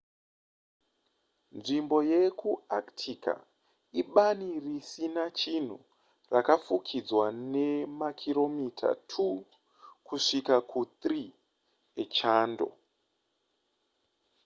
nzvimbo yekuantarctica ibani risina chinhu rakafukidzwa nemakiromita 2 kusvika ku3 echando